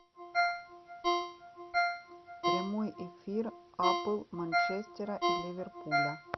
прямой эфир апл манчестера и ливерпуля